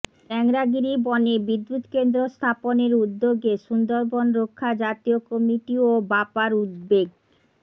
টেংরাগিরি বনে বিদ্যুৎকেন্দ্র স্থাপনের উদ্যোগে সুন্দরবন রক্ষা জাতীয় কমিটি ও বাপার উদ্বেগ